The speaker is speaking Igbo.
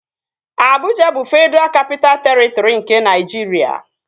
Abụja bụ Fedraa Kapitaa Terịtri nke Naịjiria